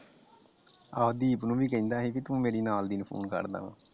ਆਹੋ ਦੀਪ ਨੂੰ ਵੀ ਕਹਿੰਦਾ ਸੀ ਤੂੰ ਮੇਰੀ ਨਾਲਦੀ ਨੂੰ ਫੋਨ ਕਰਦਾ ਆ ।